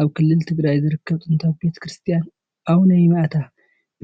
ኣብ ክልል ትግራይ ዝርከብ ጥንታዊ ቤተ ክርስቲያን ኣቡነ ይማዓታ፡